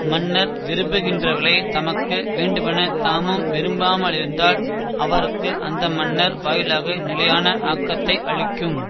மன்னர் விரும்புகின்றவகளைத் தமக்கு வேண்டுமெனத் தாமும் விரும்பாமலிருத்தால் அவர்க்கு அந்த மன்னர் வாயிலாக நிலையான ஆக்கத்தை அளிக்கும்